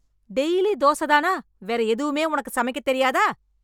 Daily dosa தானா வேற எதுவுமே உனக்கு சமைக்க தெரியாதா?